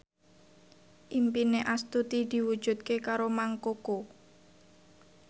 impine Astuti diwujudke karo Mang Koko